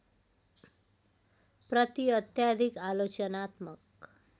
प्रति अत्याधिक आलोचनात्मक